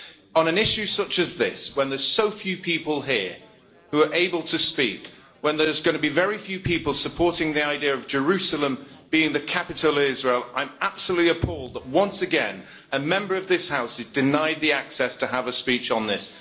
On an issue such as this, when there are so few people here who are able to speak, when there is going to be very few people supporting the idea of Jerusalem being the capital of Israel, I am absolutely appalled that once again a Member of this House is denied the access to have a speech on this.